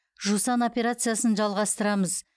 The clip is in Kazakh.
жусан операциясын жалғастырамыз